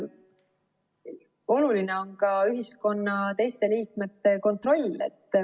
Oluline on ka ühiskonna teiste liikmete kontroll.